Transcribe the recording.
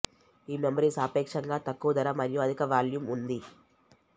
ఈ మెమరీ సాపేక్షంగా తక్కువ ధర మరియు అధిక వాల్యూమ్ ఉంది